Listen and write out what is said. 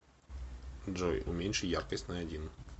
джой уменьши яркость на один